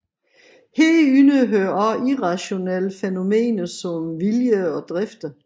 Herunder hører også irrationelle fænomener som vilje og drifter